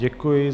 Děkuji.